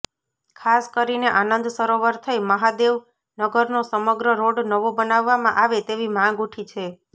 ખાસ કરીને આનંદ સરોવર થઈ મહાદેવનગરનો સમગ્ર રોડ નવો બનાવવામાં આવે તેવી માંગ ઉઠી છે